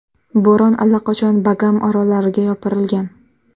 Bo‘ron allaqachon Bagam orollariga yopirilgan.